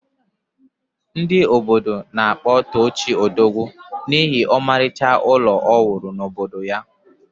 Ndị obodo na-akpọ Tochi Odogwu n’ihi ọmarịcha ụlọ o wuru n’obodo ya